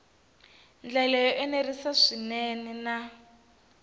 ndlela yo enerisa swinene na